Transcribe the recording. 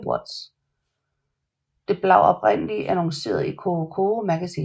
Det blav oprindeligt annonceret i Coro Coro Magazine